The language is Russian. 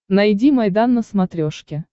найди майдан на смотрешке